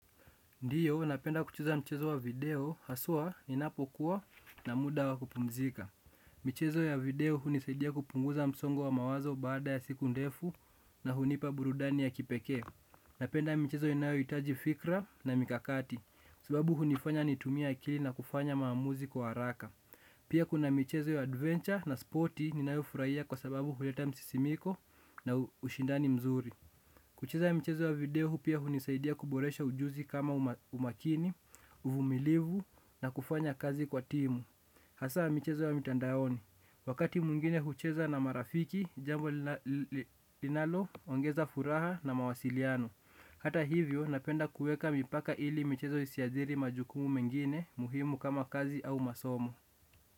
Ndiyo, napenda kucheza mchezo wa video, haswa ni napokuwa na muda wa kupumzika. Michezo ya video hunisaidia kupunguza mzongo wa mawazo baada ya siku ndefu na hunipa burudani ya kipeke. Napenda michezo inayoitaji fikra na mikakati, sababu hunifanya nitumia akili na kufanya maamuzi kwa haraka. Pia kuna michezo ya adventure na sporti ninayo furahia kwa sababu huleta msisimiko na ushindani mzuri. Kucheza michezo ya video hupia hunisaidia kuboresha ujuzi kama umakini, uvumilivu na kufanya kazi kwa timu. Hasa michezo ya mitandaoni, wakati mwingine hucheza na marafiki, jambo linalo, ongeza furaha na mawasiliano. Hata hivyo napenda kueka mipaka ili michezo isihadiri majukumu mengine muhimu kama kazi au masomo.